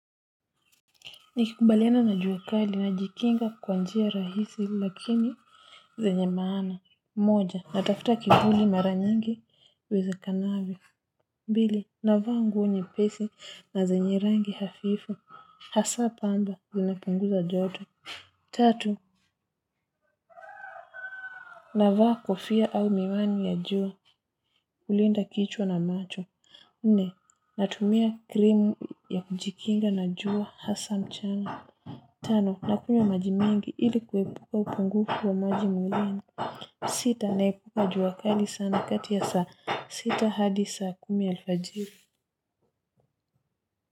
Nikikabiliana na jua kali najikinga kwa njia rahisi lakini zenye maana. Moja, natafuta kivuli mara nyingi uwezavyo. Mbili, navaa nguo nyepesi na zenye rangi hafifu. Hasa pamba, zinapunguza joto. Tatu, navaa kofia au miwani ya juu kulinda kichwa na macho. Nne, natumia krimu ya kujikinga na jua hasa mchana. Tano nakunywa maji mingi ili kuepuka upungufu wa maji mwilini. Sita naepuka jua kali sana kati ya saa sita hadi saa kumi alfajiri.